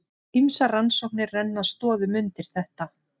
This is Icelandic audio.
Ýmsar rannsóknir renna stoðum undir þetta.